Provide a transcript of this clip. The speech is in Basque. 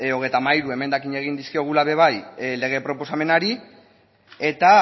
hogeita hamairu emendakin egin dizkiogula ere bai lege proposamenari eta